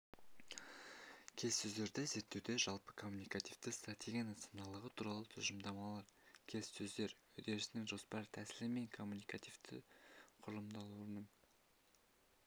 келіссөздерді зерттеуде жалпы коммуникативтік стратегияның саналылығы туралы тұжырымдамалар келіссөздер үдерісінің жоспарлы тәсілі мен когнитивтік құрылымдалуының